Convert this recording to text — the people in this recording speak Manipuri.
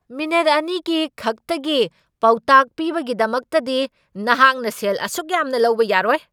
ꯃꯤꯅꯤꯠ ꯑꯅꯤꯒꯤ ꯈꯛꯇꯒꯤ ꯄꯥꯎꯇꯥꯛ ꯄꯤꯕꯒꯤꯗꯃꯛꯇꯗꯤ ꯅꯍꯥꯛꯅ ꯁꯦꯜ ꯑꯁꯨꯛ ꯌꯥꯝꯅ ꯂꯧꯕ ꯌꯥꯔꯣꯏ!